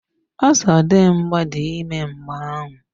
Ozodimgba dị ime mgbeahu.